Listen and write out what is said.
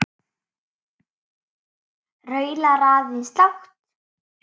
Raular aðeins lágt.